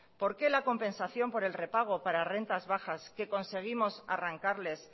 por qué la compensación por el repago para las rentas bajas que conseguimos arrancarles